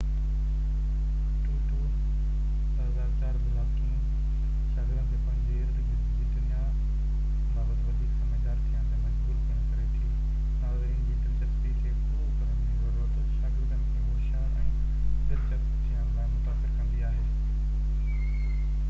Blogging شاگردن کي پنهنجي اردگرد جي دنيا بابت وڌيڪ سمجھدار ٿيڻ تي مجبور پڻ ڪري ٿي. ناظرین جي دلچسپيءَ کي پورو ڪرڻ جي ضرورت شاگردن کي هوشيار ۽ دلچسپ ٿيڻ لاءِ متاثر ڪندي آهي ٽوٽو ، 2004